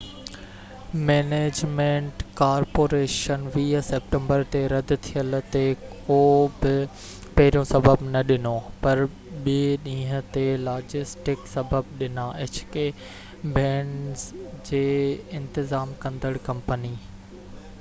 band جي انتظام ڪندڙ company hk management corporation 20 September تي رد ٿيل تي ڪو بہ پهريون سبب نہ ڏنو پر ٻي ڏينهن تي لاجسٽڪ سبب ڏنا